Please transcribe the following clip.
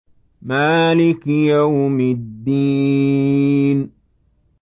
مَالِكِ يَوْمِ الدِّينِ